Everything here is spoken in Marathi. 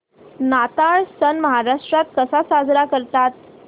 नाताळ सण महाराष्ट्रात कसा साजरा करतात